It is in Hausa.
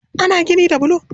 Ana gini da bulo